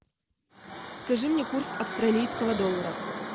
скажи мне курс австралийского доллара